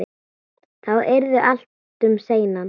Þá yrði allt um seinan.